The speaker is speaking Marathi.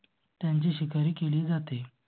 त्यांची शिकार केली जाते.